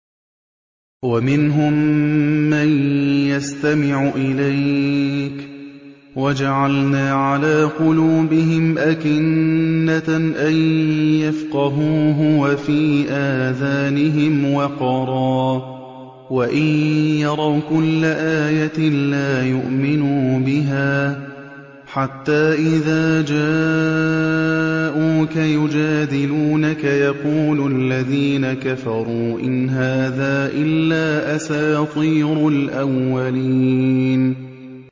وَمِنْهُم مَّن يَسْتَمِعُ إِلَيْكَ ۖ وَجَعَلْنَا عَلَىٰ قُلُوبِهِمْ أَكِنَّةً أَن يَفْقَهُوهُ وَفِي آذَانِهِمْ وَقْرًا ۚ وَإِن يَرَوْا كُلَّ آيَةٍ لَّا يُؤْمِنُوا بِهَا ۚ حَتَّىٰ إِذَا جَاءُوكَ يُجَادِلُونَكَ يَقُولُ الَّذِينَ كَفَرُوا إِنْ هَٰذَا إِلَّا أَسَاطِيرُ الْأَوَّلِينَ